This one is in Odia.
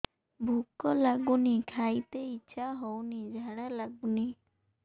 ଭୁକ ଲାଗୁନି ଖାଇତେ ଇଛା ହଉନି ଝାଡ଼ା ଲାଗୁନି